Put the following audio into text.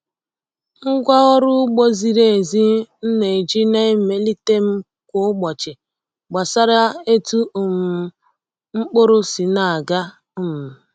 Ngwa ọrụ ugbo ziri ezi m na-eji na-emelite m kwa ụbọchị gbasara etu um mkpụrụ si na-aga. um